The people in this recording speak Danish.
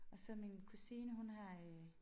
Og så min kusine hun har øh